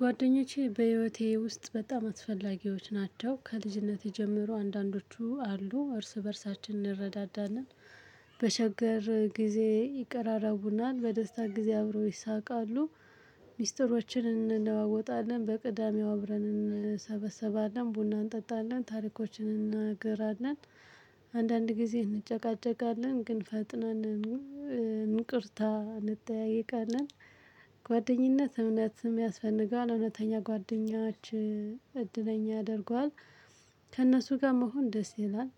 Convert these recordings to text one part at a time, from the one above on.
ጓደኞቼ በህይወቴ ውስጥ በጣም አስፈላጊዎች ናቸው ከልጅነቴ ጀምሮ አንዳንዶቹ አሉ እርስ በእርሳችን እንረዳዳለን በሸገር ጊዜ ይቀራረቡናል በደስታ ጊዜ አብረው ይሳቃሉ ሚስጥሮችን እንለዋወጣለን በቅዳሜው አብረን እንሰበሰባለን ቡና እንጠጣለን ታሪኮችን እንናገራለን አንዳንድ ጊዜ እንጨቃጨቃለን ግን ፈጥነን እንቅርታ እንጠያየቃለን ጓደኝነት እምነትም ያስፈልገዋል እውነተኛ ጓደኛችን እድለኛ ያደርገዋል ከእነሱ ጋር መሆን ደስ ይላል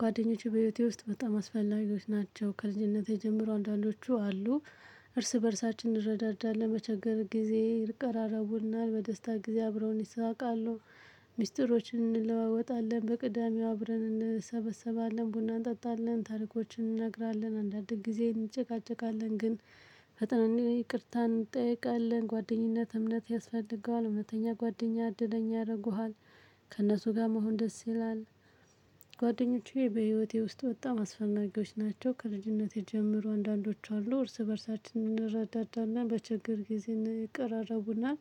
ጓደኞቼ በህይወቴ ውስጥ በጣም አስፈላጊዎች ናቸው ከልጅነቴ ጀምሮ አንዳንዶቹ አሉ እርስ በእርሳችን እንረዳዳለን። በችገር ጊዜ ይቀራረቡናል በደስታ ጊዜ አብረውን ይሳቃሉ ሚስጥሮችን እንለዋወጣለን በቅዳሜው አብረን እንሰበሰባለን ቡና እንጠጣለን ታሪኮችን እንነግራለን አንዳንድ ጊዜ እንጨቃጨቃለን ግን ፈተናንዬ ይቅርታ እንጠይቃለን ጓደኝነት እምነት ያስፈልገዋል እውነተኛ ጓደኛ እድለኛ ያደርጉሃል ከእነሱ ጋር መሆን ደስ ይላል ጓደኞቼ በህይወቴ ውስጥ በጣም አስፈላጊዎች ናቸው። ከልጅነቴ ጀምሮ አንዳንዶች አሉ እርስ በእርሳችንን እንረዳዳለን በችግር ጊዜ ን ይቀራረቡናል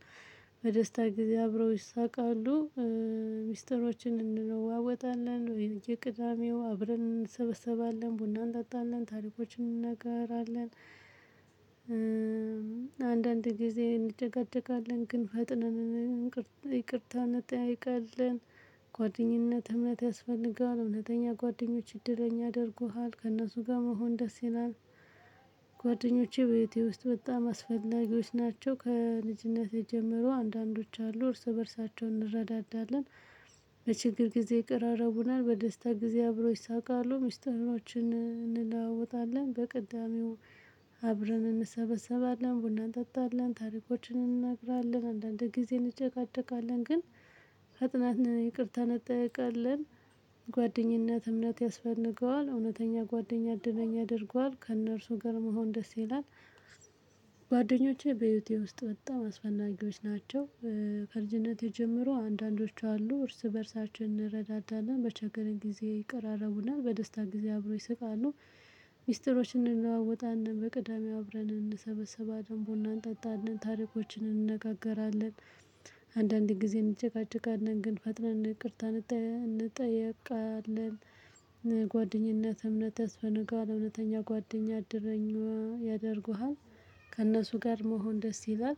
በደስታ ጊዜ አብረው ይሳቃሉ ሚስጥሮችን እንለዋወጣለን በየቅዳሜው አብረን እንሰበሰባለን ቡና እንጣጣለን ታሪኮችን እንንነገራለን አንዳንድ ጊዜ እንጨቃጨቃለን ግን ፈጥነን እንቅርት ይቅርታ እንጠያይቃለን ጓደኝነት እምነት ያስፈልገዋል እውነተኛ ጓደኞች እድለኛ ያደርጉሃል ከእነሱ ጋር መሆን ደስ ይላል ጓደኞቼ በህይወቴ ውስጥ በጣም አስፈላጊዎች ናቸው ከልጅነቴ ጀመሮ አንዳንዶች አሉ እርስ በእርሳቸው እንረዳዳለን በችግር ጊዜ ይቀራራቡናል በደስታ ጊዜ አብሮ ይሳውቃሉ ሚስጥሮችን እንለዋወጣለን በቅዳሜው አብረን እንሰበሰባለን ቡና እንጠጣለን ታሪኮችን እንነግራለን አንዳንድ ጊዜ እንጨቃጨቃለን ግን ፈጥነን ይቅርታ እንጠይቃለን ጓደኝነት እምነት ያስፈልገዋል እውነተኛ ጓደኛ እድለኛ ያደርገዋል ከእነርሱ ጋር መሆን ደስ ይላል ጓደኞቼ በህይወቴ ውስጥ በጣም አስፈላጊዎች ናቸው ከልጅነቴ ጀምሮ አንዳንዶቹ አሉ እርስ በእርሳችን እንረዳዳለን በቸገረን ጊዜ ይቀራረቡናል በደስታ ጊዜ አብሮ ይስቃሉ ሚስጥሮችን እንለዋወጣለን በቅዳሜው አብረን እንሰበሰባለን ቡና እንጠጣለን ታሪኮችን እንነጋገራለን አንዳንዴ ጊዜ እንጨቃጨቃለን ግን ፈጥነን ይቅርታ እንጥያ እንጠየቃለን ጓደኝነት እምነት ያስፈነጋል እውነተኛ ጓደኛ እደረኛ ያደርጉሃል ከእነሱ ጋር መሆን ደስ ይላል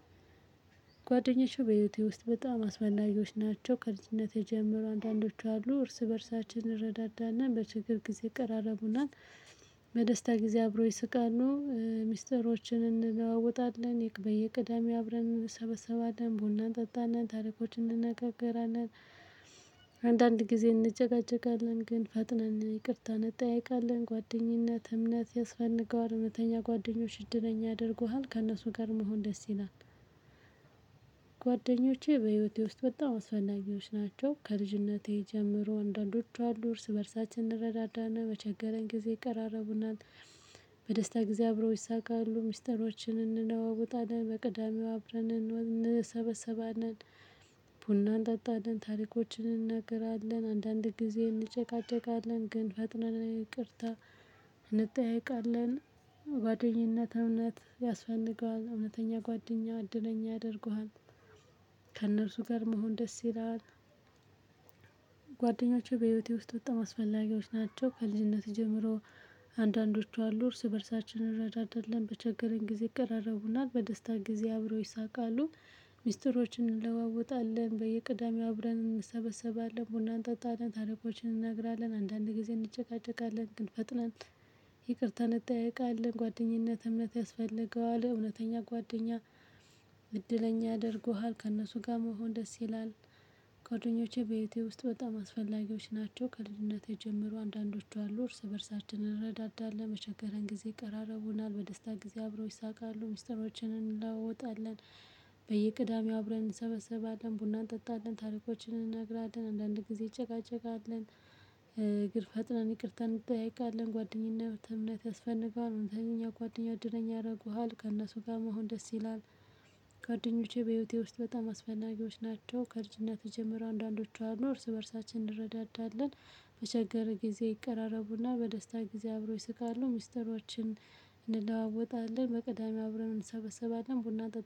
ጓደኞቹ በህይወቴ ውስጥ በጣም አስፈላጊዎች ናቸው ከልጅነቴ ጀመሮ አንዳንዶች አሉ እርስ በእርሳችን እረዳዳና በችግር ጊዜ ይቀራረቡናል በደስታ ጊዜ አብረው ይስቃሉ ሚስጥሮችን እንለዋወጣለን የቅድ በየቅዳሜ አብረን እንሰበሰባለን ቡና እንጠጣለን ታሪኮችን እንነጋገራለን አንዳንድ ጊዜ እንጨቃጨቃለን ግን ፈጥነን ይቅርታ እንጠይቃለን ጓደኝነት እምነት ያስፈነገዋል እውነተኛ ጓደኞች እድለኛ ያደርጉሃል ከእነሱ ጋር መሆን ደስ ይላል ጓደኞቼ በህይወቴ ውስጥ በጣም አስፈላጊዎች ናቸው ከልጅነቴ ጀምሮ አንዳንዶቹ አሉ እርስ በእርሳችን እንረዳዳለን በቸገረን ጊዜ ይቀራረቡናል በደስታ ጊዜ አብረው ይሳቃሉ ሚስጥሮችን እንለዋወጣለን በቅዳሜው አብረን እንወን እንሰበሰባለን ቡና እንጠጣለን ታሪኮችን እንናገራለን አንዳንድ ጊዜ እንጨቃጨቃለን ግን ፈጥነን ይቅርታ እንጠያይቃለን ጓደኝነት እውነት ያስፈንገዋል እውነተኛ ጓደኛ እድለኛ ያደርጉሃል ከእነርሱ ጋር መሆን ደስ ይላል ጓደኞቼ በህይወቴ ውስጥ በጣም አስፈላጊዎች ናቸው ከልጅነቴ ጀምሮ አንዳንዶቹ አሉ እርስ በእርሳችን እንረዳዳለን በቸገረን ጊዜ ይቀራረቡናል በደስታ ጊዜ አብረው ይሳቃሉ ሚስጥሮችን እንለዋወጣለን በየቅዳሜው አብረን እንሰበሰባለን ቡና አንጠጣለን ታሪኮችን እንነግራለን አንዳንድ ጊዜ እንጨቃጨቃለን ግን ፈጥናን ይቅርታ እንጠይቃለን ጓደኝነት እምነት ያስፈልገዋል እውነተኛ ጓደኛ እድለኛ ያደርጉሃል ከእነሱ ጋር መሆን ደስ ይላል ጓደኞቼ በህይወቴ ውስጥ በጣም አስፈላጊዎች ናቸው። ከልጅነቴ ጀመሮ አንዳንዶቹ አሉ እርስ በእርሳችን እንረዳዳለን። በቸገረን ጊዜ ይቀራረቡናል። በደስታ ጊዜ አብረው ይሳቃሉ። ሚስጥሮችን እንለዋወጣለን በየቅዳሜው አብረን እንሰበሰባለን ቡና እንጠጣለን ታሪኮችን እንነግራለን አንዳንድ ጊዜ እንጨቃጨቃለን ግን ፈጥነን ይቅርታ እንጥያየቃለን ጓደኝነት እምነት ያስፈንገዋል እውነተኛ ጓደኛ እድለኛ ያረጉሃል ከእነሱ ጋር መሆን ደስ ይላል ጋድኞቼ በህይወቴ ውስጥ በጣም አስፈላጊዎች ናቸው። ከልጅነቴ ጀምሮ አንዳንዶቹ አሉ እርስ በእርሳችን እንረዳዳለን በቸገረ ጊዜ ይቀራረቡናል በደስታ ጊዜ አብረው ይስቃሉ ሚስጥሮችን እንለዋወጣለን በቅዳሜ አብረን እንሰበሰባለን ቡና እንጠጥ